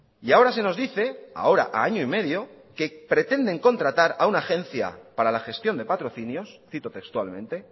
y ahora se nos dice ahora a año y medio que pretenden contratar a una agencia para la gestión de patrocinios cito textualmente